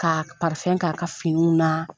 K'a k'a ka finiw na.